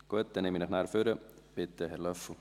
– Gut, dann nehme ich ihn nachher nach vorne.